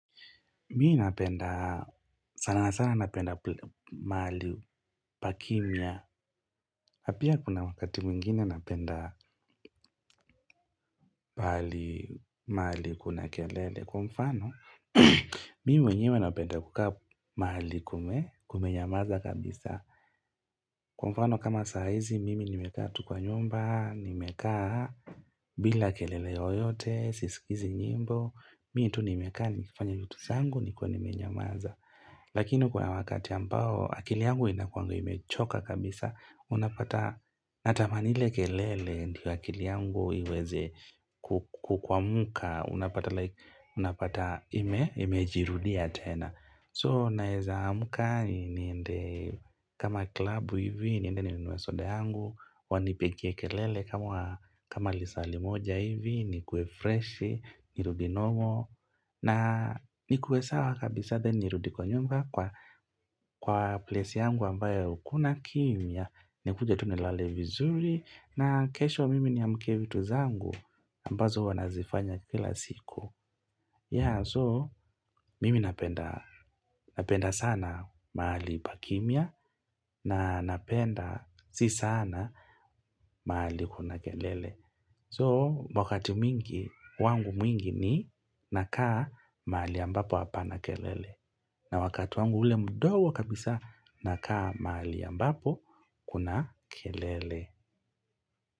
Mimi napenda, sana sana napenda mali pakimia. Na pia kuna wakati mwingine napenda mali kuna kelele. Kwa mfano, mimi wenyewe napenda kukaa mali kume, kume nyamaza kabisa. Kwa mfano, kama saa hizi, mimi nimekaa tu kwa nyumba, nimekaa bila kelele oyote, sisikizi nyimbo. Mimi tu nimekaa, nikifanya vitu zangu, nikwa nimenyamaza. Lakini kwa wakati ambao akili yangu inakuangu imechoka kabisa Unapata natamani ile kelele ndio akili yangu iweze. Ku kwamka Unapata like, unapata ime, ime jirudia tena So naeza amka niende kama klabu hivi niende ninunue sode yangu wanipigie kelele kama lisali limoja hivi ni kuwe freshi, nirudi normal. Na ni kuwe sawa kabisa then nirudi kwa nyumba kwa place yangu ambayo kuna kimia. Nikuje tu nilale vizuri na kesho mimi niamkie vitu zangu ambazo huwa nazifanya kila siku. Ya so mimi napenda sana mahali pakimia na napenda si sana mahali kuna kelele. So wakati mwingi, wangu mwingi ni nakaa mahali ambapo hapana kelele. Na wakati wangu ule mdogo kabisa nakaa mahali ambapo kuna kelele.